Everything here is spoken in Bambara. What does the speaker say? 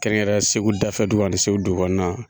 Kɛrɛnkɛrɛn Segu dafɛ dugu ani Segu dugu kɔnɔna.